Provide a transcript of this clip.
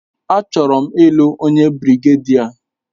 A chọrọ m ị́lu onye birigedia